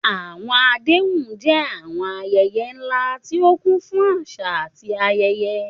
Àwọn àdéhùn jẹ́ àwọn ayẹyẹ ńlá tí ó kún fún àṣà àti ayẹyẹ.